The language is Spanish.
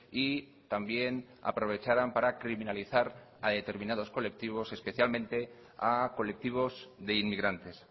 y también aprovecharan para criminalizar a determinados colectivos especialmente a colectivos de inmigrantes